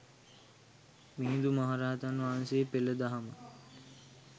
මිහිඳු මහරහතන් වහන්සේ පෙළ දහම